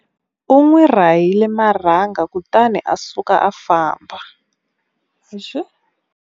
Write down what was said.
U n'wi rahile marhanga kutani a suka a famba.